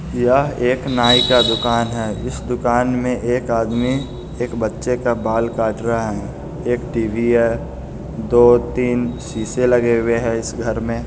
यह एक नाई का दुकान है इस दुकान मे एक आदमी एक बच्चे का बाल काट रहा है एक टीवी है दो तीन सीसे लगे हुए है इस घर मे--